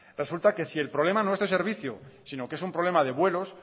resulta que si el problema no es de servicio sino que es un problema de vuelos